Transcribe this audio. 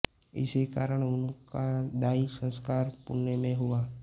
इसी कारण उनका दाह संस्कार पुणे में हुआ